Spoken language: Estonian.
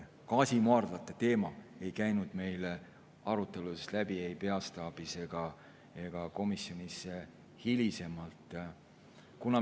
Gaasimaardlate teema ei käinud meil arutelust läbi ei peastaabis ega ka komisjonis hilisemalt.